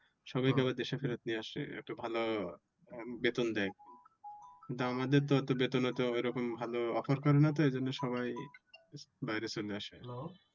সবাই কে আবার দেশে ফিরিয়ে আসে একটা ভালো বেতন দেয়। কিন্তু আমাদের তো বেতন ওতো ভালো offer করে না তো এই জন্যে সবাই বাইরে চলে আসে।